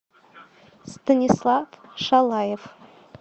станислав шалаев